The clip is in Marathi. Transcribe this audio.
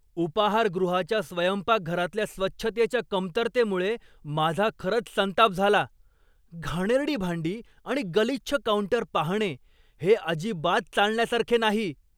उपाहारगृहाच्या स्वयंपाकघरातल्या स्वच्छतेच्या कमतरतेमुळे माझा खरंच संताप झाला. घाणेरडी भांडी आणि गलिच्छ काउंटर पाहणे हे अजिबात चालण्यासारखे नाही.